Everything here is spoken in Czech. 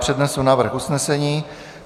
Přednesu návrh usnesení.